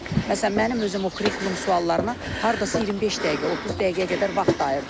Məsələn, mənim özüm o kurikulum suallarına hardasa 25 dəqiqə, 30 dəqiqəyə qədər vaxt ayırdım.